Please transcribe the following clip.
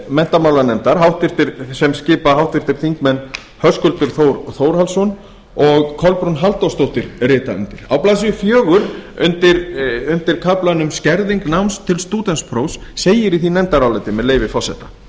menntamálanefndar sem skipa háttvirtir þingmenn höskuldur þór þórhallsson og kolbrún halldórsdóttir rita undir á blaðsíðu fjórum undir kaflanum skerðing náms til stúdentsprófs segir í því nefndaráliti með leyfi forseta